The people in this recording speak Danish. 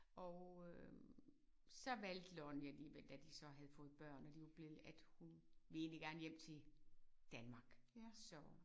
Og øh så valgte Lonnie alligevel da de så havde fået børn og de var blevet at hun ville egentlig gerne hjem til Danmark så